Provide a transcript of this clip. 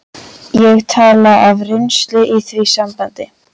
Ég tala af reynslu í því sambandi.